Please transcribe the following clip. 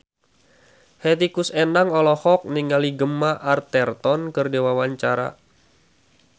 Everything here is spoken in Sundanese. Hetty Koes Endang olohok ningali Gemma Arterton keur diwawancara